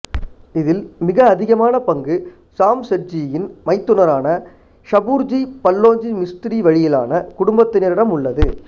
இதில் மிக அதிகமான பங்கு ஜாம்செட்ஜியின் மைத்துனரான ஷபூர்ஜி பல்லோஞ்சி மிஸ்த்ரி வழியிலான குடும்பத்தினரிடம் உள்ளது